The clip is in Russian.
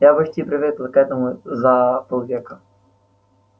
я почти привыкла к этому за полвека